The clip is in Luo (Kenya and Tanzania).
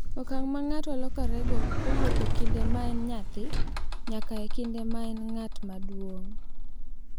Okang’ ma ng’ato lokorego kowuok e kinde ma en nyathi nyaka e kinde ma en ng’at maduong’.